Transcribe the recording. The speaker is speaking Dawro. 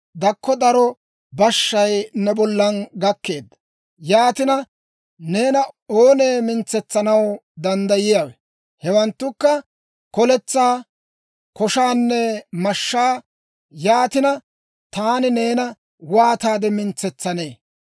Dakko daro bashshay ne bollan gakkeedda; yaatina, neena oonee mintsanaw danddayiyaawe? Hewanttukka koletsaa, koshaanne mashshaa. Yaatina, taani neena waataade mintsetsanee?